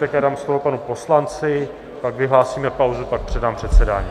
Tak já dám slovo panu poslanci, pak vyhlásíme pauzu, pak předám předsedání.